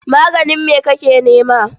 Maganin me kake nema?